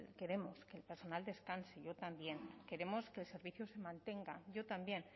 queremos que el personal descanse yo también queremos que el servicio se mantenga yo también